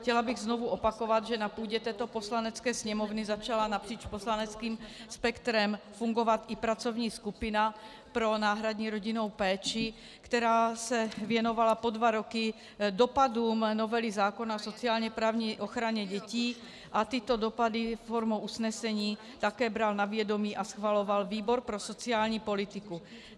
Chtěla bych znovu opakovat, že na půdě této Poslanecké sněmovny začala napříč poslaneckým spektrem fungovat i pracovní skupina pro náhradní rodinnou péči, která se věnovala po dva roky dopadům novely zákona o sociálně-právní ochraně dětí, a tyto dopady formou usnesení také bral na vědomí a schvaloval výbor pro sociální politiku.